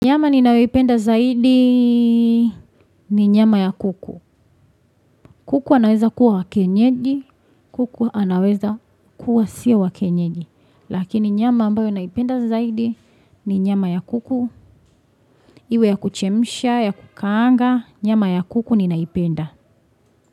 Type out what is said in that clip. Nyama ni nayoipenda zaidi ni nyama ya kuku. Kuku anaweza kuwa wakienyeji, kuku anaweza kuwa sio wakienyeji. Lakini nyama ambayo naipenda zaidi ni nyama ya kuku. Iwe ya kuchemisha, ya kukaanga, nyama ya kuku ni naipenda.